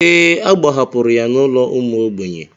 Ee, a gbahapụrụ ya n'ụlọ ụmụ ogbenye.